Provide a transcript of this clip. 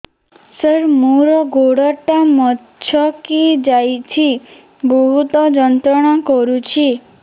ସାର ମୋର ଗୋଡ ଟା ମଛକି ଯାଇଛି ବହୁତ ଯନ୍ତ୍ରଣା କରୁଛି